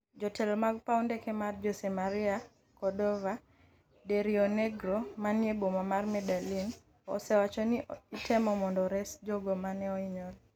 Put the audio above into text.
jotelo mag paw ndege mar Jose Maria Cordova de Rionegro manie boma mar Medellin, osewacho ni itemo mondo reso jogo mane ohinyore